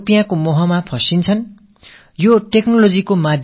அந்த வார்த்தைகளில் மயங்கி சிலர் பணத்தாசையில் விழுந்து சிக்கிக் கொள்கிறார்கள்